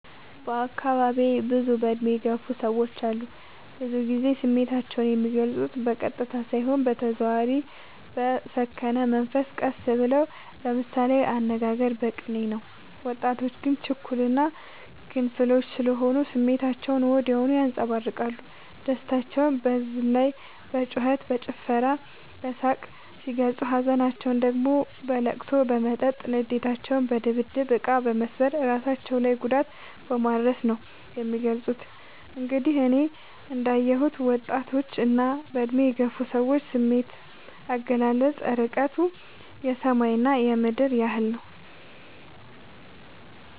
በአካባቢዬ ብዙ እድሜ የገፉ ሰዎች አሉ። ብዙ ግዜ ስሜታቸው የሚልፁት በቀጥታ ሳይሆን በተዘዋዋሪ በሰከነ መንፈስ ቀስ ብለው በምሳሌያዊ አነጋገር በቅኔ ነው። ወጣቶች ግን ችኩል እና ግንፍሎች ስሆኑ ስሜታቸውን ወዲያው ያንፀባርቃሉ። ደስታቸውን በዝላይ በጩከት በጭፈራ በሳቅ ሲገልፁ ሀዘናቸውን ደግሞ በለቅሶ በመጠጥ ንዴታቸውን በድብድብ እቃ መሰባበር እራሳቸው ላይ ጉዳት በማድረስ ነው የሚገልፁት። እንግዲህ እኔ እንዳ የሁት የወጣቶች እና በእድሜ የገፉ ሰዎች ስሜት አገላለፅ እርቀቱ የሰማይ እና የምድር ያህል ነው።